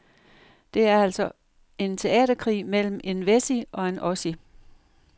Det er altså en teaterkrig mellem en wessie og en ossie.